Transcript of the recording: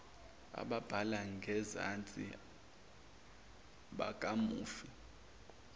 ababhalwe ngenzansi bakamufi